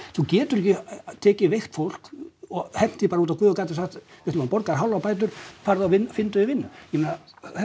þú getur ekki tekið veikt fólk og hent því bara út á guð og gaddinn og sagt við ætlum að borga hálfar bætur farðu og finndu þér vinnu ég meina